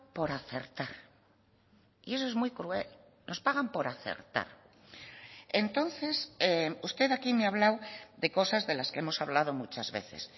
por acertar y eso es muy cruel nos pagan por acertar entonces usted aquí me ha hablado de cosas de las que hemos hablado muchas veces